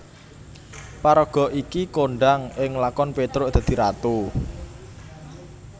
Paraga iki kondhang ing lakon Petruk dadi Ratu